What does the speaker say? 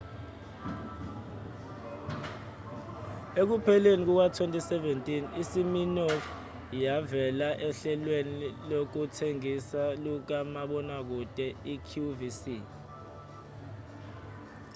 ekupheleni kuka-2017 isiminoff yavela ohlelweni lokuthengisa lukamabonakude iqvc